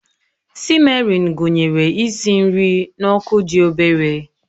Sịmmerin gụnyere isi nri n'ọkụ dị obere